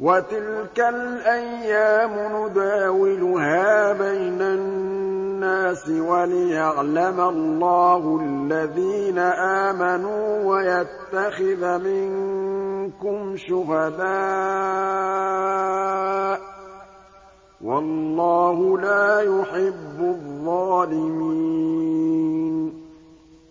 وَتِلْكَ الْأَيَّامُ نُدَاوِلُهَا بَيْنَ النَّاسِ وَلِيَعْلَمَ اللَّهُ الَّذِينَ آمَنُوا وَيَتَّخِذَ مِنكُمْ شُهَدَاءَ ۗ وَاللَّهُ لَا يُحِبُّ الظَّالِمِينَ